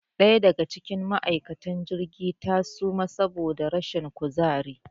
Ɗaya daga cikin ma' aikatan cikin jirgi ta suma saboda rashin kuzari